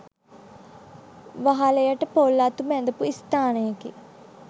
වහලයට පොල් අතු බැඳපු ස්ථානයකි.